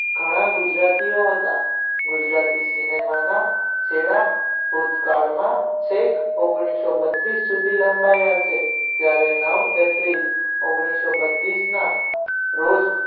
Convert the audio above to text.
ઘણા ગુજરાતીઓ હતા ગુજરાતી cinema છેડા ભૂતકાળમાં છેક એક હજાર નવસો બત્રીસ સુધી લંબાવ્યા છે ત્યારે નવ એપ્રિલ એક હજાર નવસો બત્રીસ ના રોજ